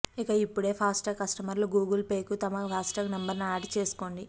ఇక ఇప్పుడే ఫాస్టాగ్ కస్టమర్లు గూగుల్ పేకు తమ ఫాస్టాగ్ నంబరును ఆడ్ చేసుకోండి